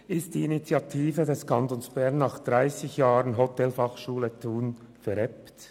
Ist die Initiative des Kantons Bern nach 30 Jahren Hotelfachschule Thun verebbt?